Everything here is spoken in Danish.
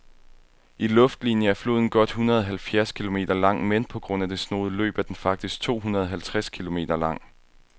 I luftlinie er floden godt hundredeoghalvfjerds kilometer lang, men på grund af det snoede løb er den faktisk tohundredeoghalvtreds kilometer lang.